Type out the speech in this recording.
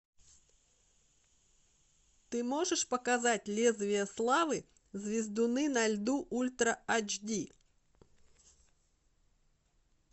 ты можешь показать лезвие славы звездуны на льду ультра айч ди